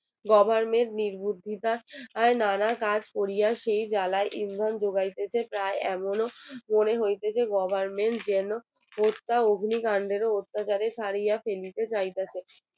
Goverment নির্বুদ্ধিতার নানা কাজ করিয়া সেই জ্বালায় এমন ডোবাইতেছে তাই এমনও মনে হইতেছে যে Government যেন হত্যা অগ্নিকাণ্ডেরও অত্যাচারের দিকে যাইতেছে